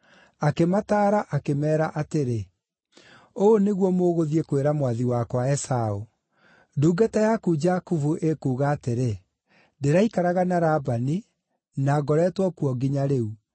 Akĩmataara, akĩmeera atĩrĩ, “Ũũ nĩguo mũgũthiĩ kwĩra mwathi wakwa Esaũ: ‘Ndungata yaku Jakubu ĩkuuga atĩrĩ, ndĩraikaraga na Labani, na ngoretwo kuo nginya rĩu.